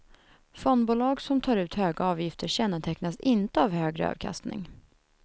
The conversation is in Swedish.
Fondbolag som tar ut höga avgifter kännetecknas inte av högre avkastning.